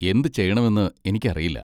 എന്തുചെയ്യണമെന്ന് എനിക്കറിയില്ല.